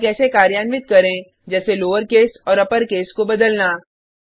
और कैसे कार्यान्वित करें जैसे लोउरेकस और अपरकेस को बदलना